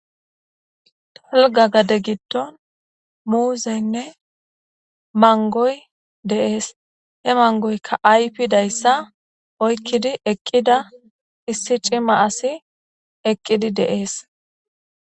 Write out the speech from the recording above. tolga gade gitdon muuzeynne mangoy deees he mangoykka aypidayssa oykkidi eqqida issi cima asi eqqidi de7ees